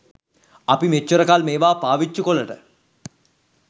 අපි මෙච්චර කල් මේවා පාවිච්චි කොලට